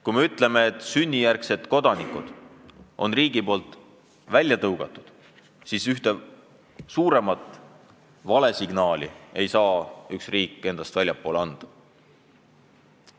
Kui me ütleme, et riik on sünnijärgsed kodanikud eemale tõuganud, siis enam tugevamat valesignaali ei saa üks riik väljapoole anda.